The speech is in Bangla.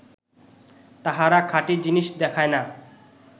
তাহারা খাঁটী জিনিস দেখায় না